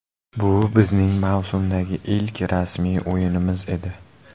Bu bizning mavsumdagi ilk rasmiy o‘yinimiz edi.